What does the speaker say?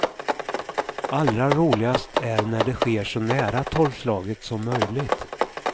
Allra roligast är när det sker så nära tolvslaget som möjligt.